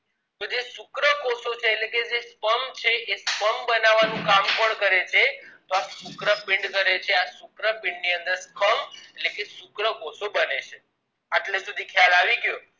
તો જે શુક્રકોષો છે એ એટલે કે sperm છે એ sperm બનાવાનું કામ કોણ કરે છે તો આ શુક્રપીંડ કરે છે આ શુક્રપીંડ ની અંદર એટલે કે શુક્રકોષો બને છે એટલે શુધી ખ્યાલ આવ્યો